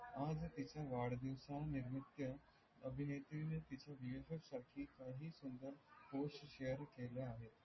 आणि वाढदिवासानिमित्त अभिनेत्री ने तिच्या विविध शकीखा ही सुंदर post share केल्या आहेत.